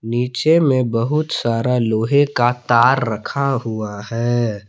नीचे में बहुत सारा लोहे का तार रखा हुआ है।